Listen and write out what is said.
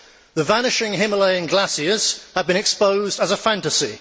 the vanishing Himalayan glaciers have been exposed as a fantasy